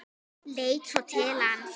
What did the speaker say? Leit svo til hans.